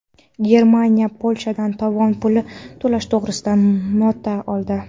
Germaniya Polshadan tovon puli to‘lash to‘g‘risida nota oldi.